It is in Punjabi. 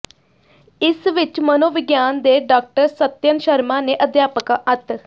ਇਸ ਵਿੱਚ ਮਨੋਵਿਗਿਆਨ ਦੇ ਡਾਕਟਰ ਸਤਿਅਨ ਸ਼ਰਮਾ ਨੇ ਅਧਿਆਪਕਾਂ ਅਤ